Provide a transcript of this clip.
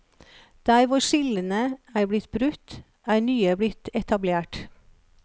Der hvor skillene er blitt brutt, er nye blitt etablert.